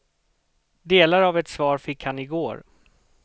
Delar av ett svar fick han i går.